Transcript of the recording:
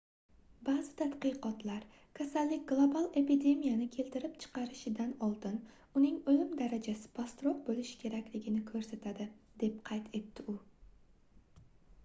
baʼzi tadqiqotlar kasallik global epidemiyani keltirib chiqarishidan oldin uning oʻlim darajasi pastroq boʻlishi kerakligini koʻrsatadi deb qayd etdi u